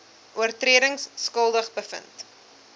oortredings skuldig bevind